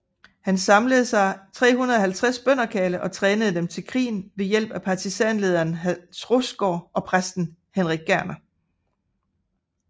Han samlede sig 350 bønderkarle og trænede dem til krigere med hjælp fra partisanlederen Hans Rostgaard og præsten Henrik Gerner